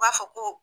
U b'a fɔ ko